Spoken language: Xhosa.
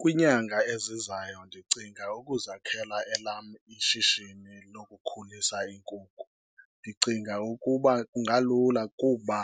Kwiinyanga ezizayo ndicinga ukuzakhela elam ishishini lokukhulisa iinkukhu. Ndicinga ukuba kungalula kuba